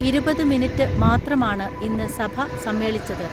ഇരുപത്‌ മിനിറ്റ് മാത്രമാണ് ഇന്ന് സഭ സമ്മേളിച്ചത്.